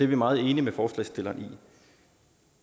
vi meget enige med forslagsstilleren i